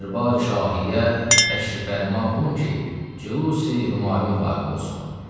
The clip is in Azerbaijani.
Dərbari-Şahiyə təşrif fərma olun ki, cülusi-Hümayun vaqe olsun.